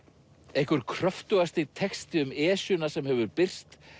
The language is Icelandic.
einhver texti um Esjuna sem hefur birst